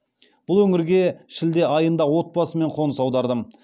бұл өңірге шілде айында отбасыммен қоныс аудардым